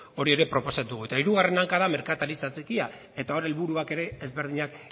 hori ere proposatu dugu eta hirugarren hanka da merkataritza txikia hor helburuak ere ezberdinak